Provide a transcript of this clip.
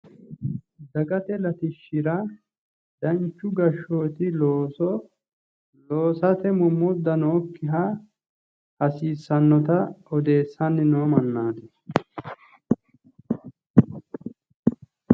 Dagate latishshira danchu gashshooti looso loosate mommodda nookkiha loosa hasiissannota odeessanni noo mannootaati.